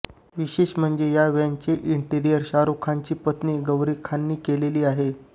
विशेष म्हणजे या व्हॅनचे इंटेरिअर शाहरुख खानची पत्नी गौरी खानने केले आहे